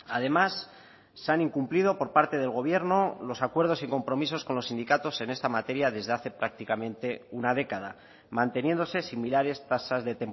además se han incumplido por parte del gobierno los acuerdos y compromisos con los sindicatos en esta materia desde hace prácticamente una década manteniéndose similares tasas de